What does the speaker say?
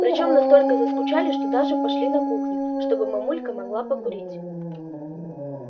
причём настолько заскучали что даже пошли на кухню чтобы мамулька могла покурить